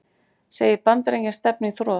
Segir Bandaríkin stefna í þrot